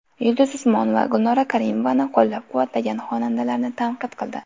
Yulduz Usmonova Gulnora Karimovani qo‘llab-quvvatlagan xonandalarni tanqid qildi .